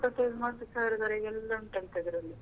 ಇಪ್ಪತ್ತೈದು ಮೂವತ್ತು ಸಾವಿರದವರೆಗೆ ಎಲ್ಲ ಉಂಟಂತೆ ಅದರಲ್ಲಿ.